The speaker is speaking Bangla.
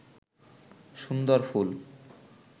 সুন্দর ফুল